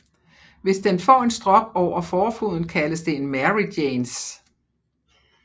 Hvis den får en strop over forfoden kaldes det en Mary Janes